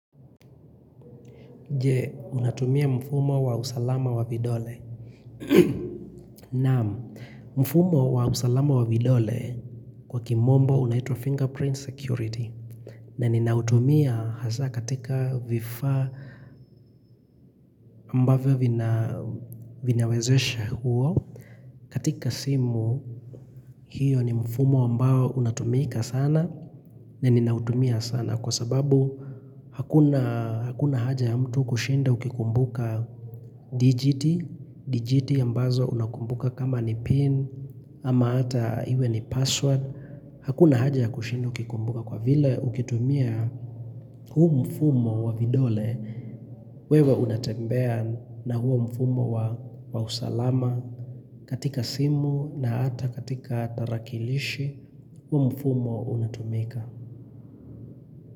Je, unatumia mfumo wa usalama wa vidole Naam, mfumo wa usalama wa vidole Kwa kimombo unaitwa fingerprint security na ninautumia hasa katika vifaa ambavyo vinawezesha huo katika simu hiyo ni mfumo ambao unatumika sana na ninautumia sana Kwa sababu hakuna hakuna haja ya mtu kushinda ukikumbuka digiti, digiti ambazo unakumbuka kama ni pin ama ata iwe ni password Hakuna haja ya kushinda ukikumbuka kwa vile Ukitumia huu mfumo wa vidole wewe unatembea na huu mfumo wa usalama katika simu na ata katika tarakilishi huu mfumo unatumika.